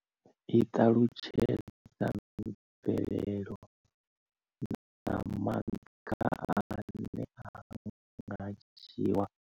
I ṱalutshedza mvelelo na maga ane a nga dzhiwa u khwinisa mbekanyamushumo iyi.